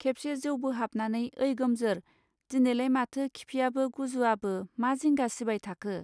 खेबसे जौ बोहाबनानै ओइ गोमजोर दिनैलाय माथो खिफियाबो गुजुआबो मा जिंगा सिबायथाखो.